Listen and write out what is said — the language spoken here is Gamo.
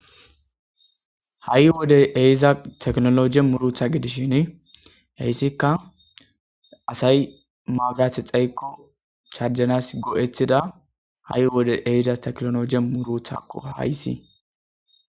ha'i wode ehiza teknologe muruta gidishin hayssikka asay maaburate dhayiko charjanas go'etiza ha'i wode ehiza teknoloje muruta qofa hayssi